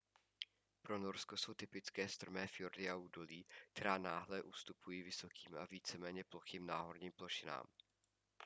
pro norsko jsou typické strmé fjordy a údolí která náhle ustupují vysokým a víceméně plochým náhorním plošinám